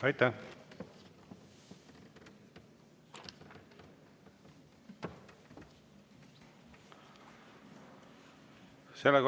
Aitäh!